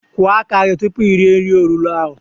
Kwọ aka gi tupu ire nri olulo ahụ!